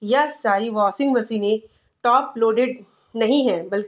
यह सारी वाशिंग मशीनें टॉप लोडेड नहीं है बल्कि --